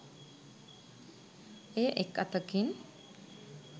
එය එක් අතකින්